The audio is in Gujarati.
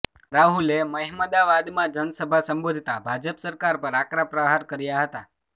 રાહુલે મહેમદાવાદમાં જનસભા સંબોધતા ભાજપ સરકાર પર આકરા પ્રહાર કર્યા હતા